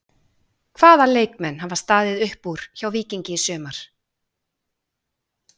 Hvaða leikmenn hafa staðið upp úr hjá Víkingi í sumar?